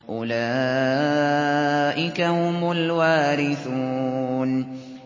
أُولَٰئِكَ هُمُ الْوَارِثُونَ